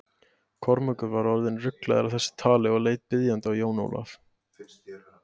Kormákur var orðinn ruglaður af þessu tali og leit biðjandi á Jón Ólaf.